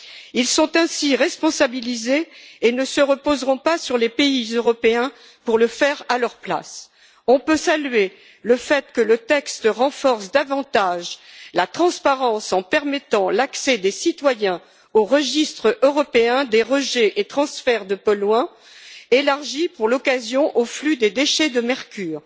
Ils sont ainsi responsabilisés et ne se reposeront pas sur les pays européens pour le faire à leur place. On peut saluer le fait que le texte renforce davantage la transparence, en permettant l'accès des citoyens au registre européen des rejets et transferts de polluants, élargi, pour l'occasion, au flux des déchets de mercure.